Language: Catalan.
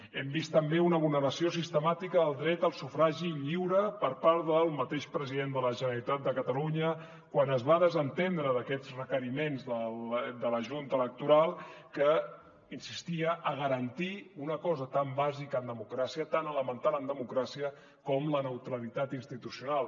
hem vist també una vulneració sistemàtica del dret al sufragi lliure per part del mateix president de la generalitat de catalunya quan es va desentendre d’aquests requeriments de la junta electoral que insistia a garantir una cosa tan bàsica en democràcia tan elemental en democràcia com la neutralitat institucional